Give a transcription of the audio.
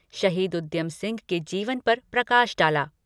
शहीद उद्यम सिंह के जीवन पर प्रकाश डाला।